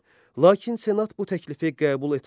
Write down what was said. Lakin senat bu təklifi qəbul etmədi.